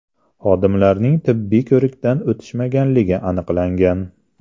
Xodimlarning tibbiy ko‘rikdan o‘tishmaganligi aniqlangan.